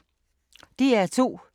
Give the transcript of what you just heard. DR2